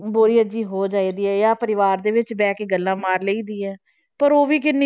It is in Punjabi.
ਬੋਰੀਅਤ ਜਿਹੀ ਹੋ ਜਾਂਦੀ ਹੈ ਜਾਂ ਪਰਿਵਾਰ ਦੇ ਵਿੱਚ ਬੈਠ ਕੇ ਗੱਲਾਂ ਮਾਰ ਲਈਦੀ ਹੈ ਪਰ ਉਹ ਵੀ ਕਿੰ~